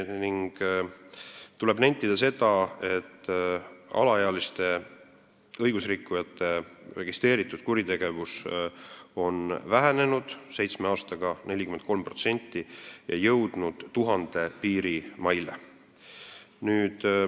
Tuleb nentida, et alaealiste õigusrikkujate registreeritud kuritegevus on seitsme aastaga vähenenud 43% ja jõudnud 1000 piirimaile.